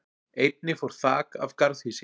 Einnig fór þak af garðhýsi